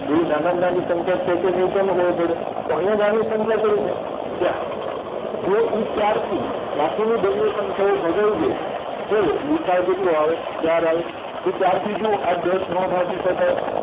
જો નાનામાં નાની સંખ્યા છે કે નય કેમ ખબર પડે તો આયા નાની સંખ્યા કય છે ચાર જો ઇ ચારથી બાકીની બંને સંખ્યાઓ ભગાય જાય તો ગુસાઅ કેટલો આવે ચાર આવે તો ચારથી જુવો આ દસ નો ભાગી શકાય